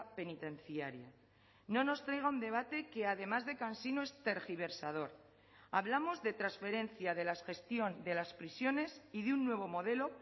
penitenciaria no nos traiga un debate que además de cansino es tergiversador hablamos de transferencia de la gestión de las prisiones y de un nuevo modelo